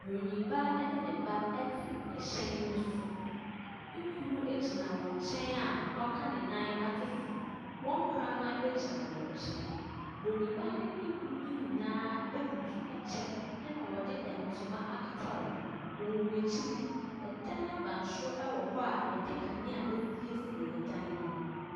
Broniibaa ɛne ne ba ɛte ɛhyɛn ne so. Ne kunu ɛgyina wɔn nkyɛn a w'aka ne nan ato so. Wɔn kraman ɛgyina wɔn nkyɛn. Broniibaa ne ne kunu no nyinaa ɛbutu ɛkyɛ ɛna wɔde ntoma akata wɔn ho. Wɔn akyi no, ɛdan abansoro ɛwɔ hɔ a yɛde kanea asiesie ɛdan no ho.